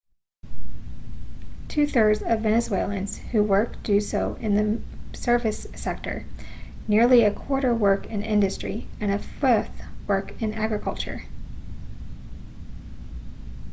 two thirds of venezuelans who work do so in the service sector nearly a quarter work in industry and a fifth work in agriculture